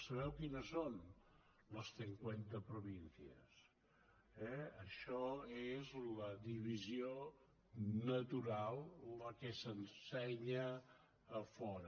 sabeu quines són les cincuenta provincias eh això és la divisió natural la que s’ensenya a fora